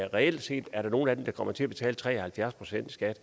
reelt set nogle af dem der kommer til at betale tre og halvfjerds procent i skat